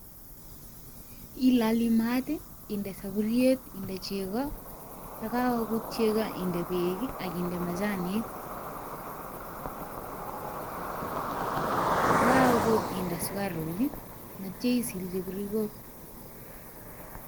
Iloli maat, inde saburiet, inde chego, ye kagogut chego inde beek ii akinde machanik. Kogagogut inde sukaruk, netoi isilchi birikok.